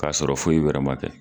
K'a sɔrɔ foyi wɛrɛ man kɛ.